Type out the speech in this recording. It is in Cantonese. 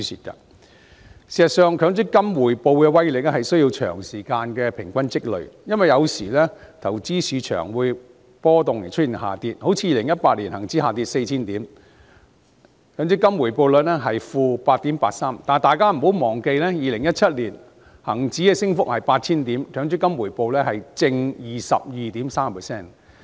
事實上，強積金回報的威力是需要長時間平均積累，因為有時投資市場出現波動以致下跌，例如2018年恒生指數下跌 4,000 點，強積金回報率是 -8.83%； 但大家不要忘記 ，2017 年恒指升幅達 8,000 點，而強積金回報是 +22.3%。